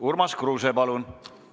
Urmas Kruuse, palun!